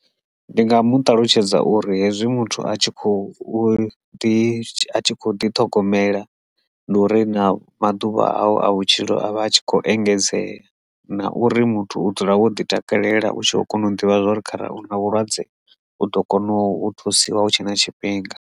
Ndi nga mu ṱalutshedza uri hezwi muthu a tshi khou ḓi ḓi ṱhogomela ndi uri na maḓuvha awu a vhutshilo avha a tshi kho engedzea na uri muthu u dzula wo ḓi takalela u tshi kho kona u ḓivha uri kharali hu na vhulwadze u ḓo kona u thusiwa hu tshe na tshifhinga.